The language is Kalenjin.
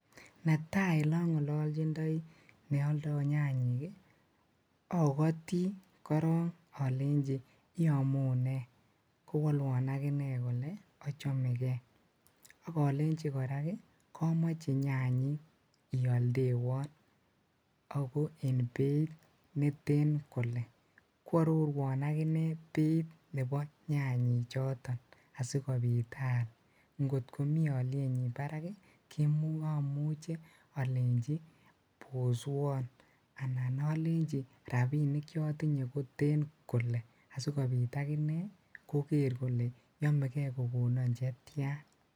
Netai ole ongololjindoi ne oldoo nyayik kii okotii korong olenji iomunee kowolwon akinee kole ochomegee ak olenji Koraa kii komoche nyayik ioldewon ako en beit netet kole, kwororuon akinee beit nebo nyayik choton asikopit aal kotko mii olyenyin barak kii omuche olenji boswon anan olenji rabinik cheotinyee koten kole asikobit akinee koker kole yomegee kokonon chetyan.